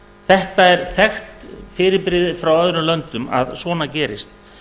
þetta er þekkt fyrirbrigði frá öðrum löndum að svona gerist